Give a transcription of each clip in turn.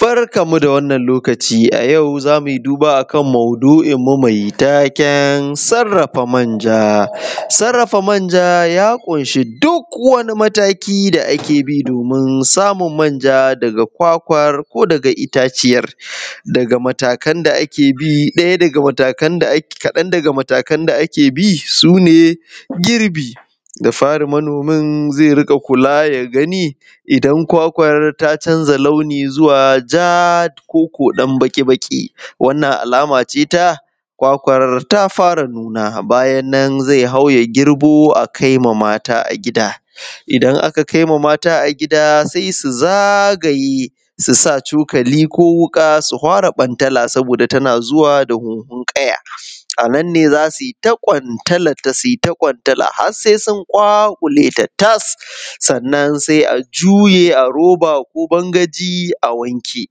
Barkan mu da wannan lokaci a yau zamu yi duba akan mau’duin mu mai taken sarrafa manja, sarrafa manja ya kunshi duk wani mataki da ake bi na domin samun manja daga kwakwar ko daga itaciyar daga matakan da ake bi daya daga matakan kadan daga matakan da ake bi sune girbi dafari manomin zai rika kula ya rika gani idan kwakwar ta canza launi zuwa ja ko ko ɗan baki baki, wannan alama ce ta kwakwar ta fara nuna bayan nan zai hau ya girbo a kaima mata a gida idan aka kaima mata a gida sai su zagaye su sa cokali ko wuƙa su fara bantala zuwa da hunhun ƙaya a nan ne zasu yi ta ƙwantalarta ƙwantala har sai sun ƙwaƙwuleta tas sannan sai ajuye a roba ko bangaji a wanke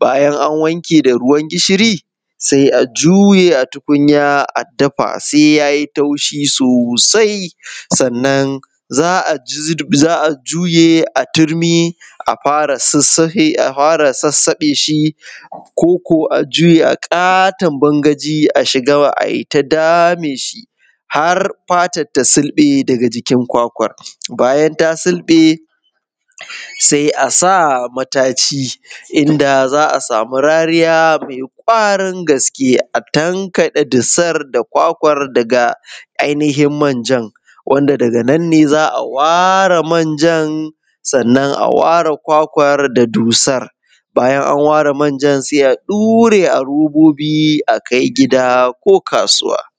bayan an wanke da ruwan gishiri sai a juye a tukunya a dafa sai yayi taushi sosai sannan za a juye a turmi a fara sasahe shi ko ko a juye a katon bangaji a shiga a tai dame shi har fatan ta sulɓe daga jikin kwakwan bayan ta sulɓe sai asa mataci inda zaa samu rariya mai ƙwarin gaske a tankade dusan da kwakwar daga ainihin manjan wanda daga nan ne za a ware manjan, sannan aware kwakwar da dusar bayan an ware manjan sai a ɗura a robobi akai gida ko kasuwa.